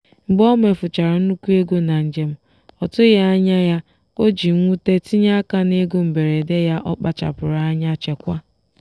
mgbe omefuchara nnukwu ego na njem ọtụghị anya ya o ji mwute tinye aka n'ego mberede ya ọkpachara anya chekwaa.